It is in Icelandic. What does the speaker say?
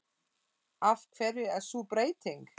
Af hverju er sú breyting?